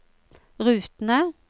rutene